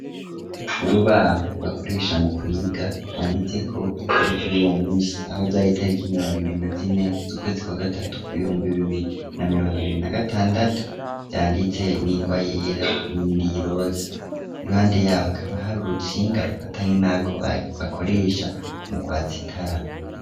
Urubaho bakoresha mu kwiga rwanditse ko itariki yuwo musi aho zaritariko imirongo ibiri na zine z'ukwezi kwa gatatu ibihumbi bibiri na mirongo ibiri na gatandatu yanditse n'ingwa yera nindi yiroza, iruhande yabo akaba hari urutsinga rufatanye nako bakoresha mu kwatsa itara.